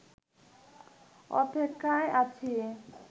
অপেক্ষায় আছি